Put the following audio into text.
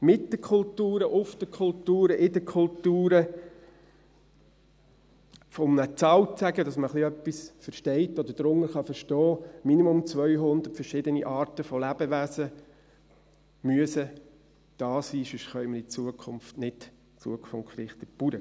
Mit den Kulturen, auf den Kulturen, in den Kulturen müssen – um eine Zahl zu nennen, damit man etwas darunter versteht oder darunter verstehen kann – im Minimum 200 verschiedene Arten von Lebewesen da sein, weil wir sonst in Zukunft nicht zukunftsgerichtet Landwirtschaft betreiben können.